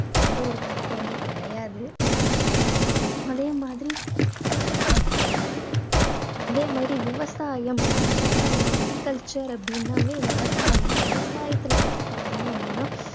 எந்த ஒரு தப்புமே கிடையாது. அதே மாதிரி அதே மாதிரி விவசாயம் விவசாயம் agriculture அப்படீன்னாவே விவசாயம், விவசாயத்துல பத்தி பாத்தீங்கன்னா